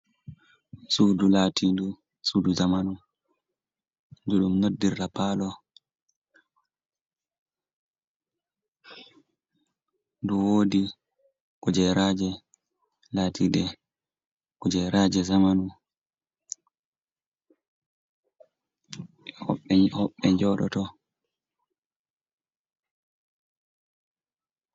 Suudu latinɗu suudu jamanu ndu ɗum noddirta palo, Ndu woodi kujeraaje latiiɗe kujeraaje jamanu, hoɓɓe njooɗoto.